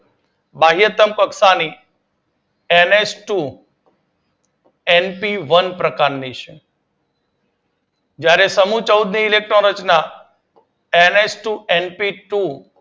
બાહયતમ કક્ષા ની N H two N P one પ્રકારની છે જ્યારે સમૂહ ચૌદ ની ઇલેક્ટ્રોન રચના એનએચ ટુ એનપીટુ